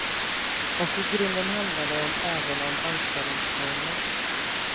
Och i grunden handlar det om även om anställningsformer.